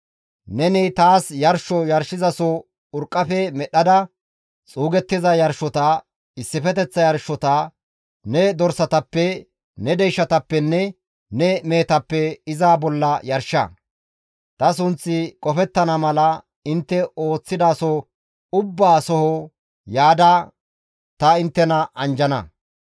« ‹Neni taas yarsho yarshizaso urqqafe medhdhada xuugettiza yarshota, issifeteththa yarshota, ne dorsatappe, ne deyshatappenne ne mehetappe iza bolla yarsha. Ta sunththi qofettana mala, intte ooththidaso ubbaa soho yaada ta inttena anjjana.